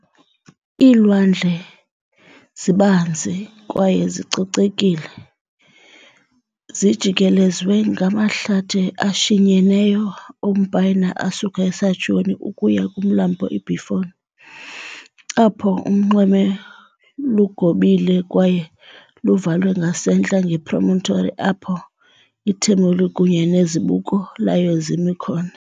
Iilwandle, zibanzi kwaye zicocekile, zijikelezwe ngamahlathi ashinyeneyo ompayina asuka eSaccione ukuya kumlambo iBiferno, apho unxweme lugobile kwaye luvalwe ngasentla ngepromontory apho iTermoli kunye nezibuko layo zimi khona.